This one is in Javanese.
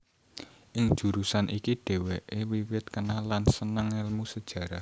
Ing jurusan iki dhèwèké wiwit kenal lan sênêng ngélmu Sejarah